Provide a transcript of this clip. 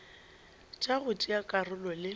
tša go tšea karolo le